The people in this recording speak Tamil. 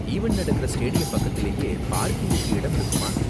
ஈவண்ட் நடக்குற ஸ்டேடியம் பக்கத்துலயே பார்க்கிங்குக்கு இடம் இருக்குமா?